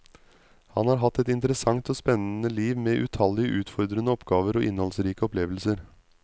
Han har hatt et interessant og spennende liv med utallige utfordrende oppgaver og innholdsrike opplevelser.